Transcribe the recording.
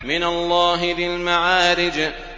مِّنَ اللَّهِ ذِي الْمَعَارِجِ